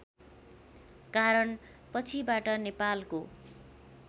कारण पछिबाट नेपालको